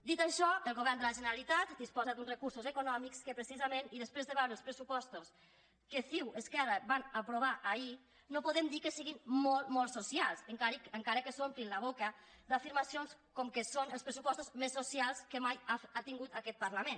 dit això el govern de la generalitat disposa d’uns recursos econòmics que precisament i després de veure els pressupostos que ciu esquerra van aprovar ahir no podem dir que siguin molt molt socials encara que s’omplin la boca d’afirmacions com que són els pressupostos més socials que mai ha tingut aquest parlament